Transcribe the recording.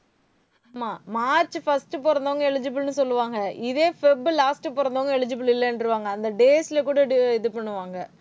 ஆமா, March first பொறந்தவங்க eligible ன்னு சொல்லுவாங்க. இதே feb, last பொறந்தவங்க eligible இல்லைன்றுவாங்க. அந்த days ல கூட இது பண்ணுவாங்க